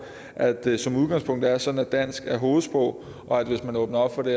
at det som udgangspunkt er sådan at dansk er hovedsproget og at det hvis man åbner op for det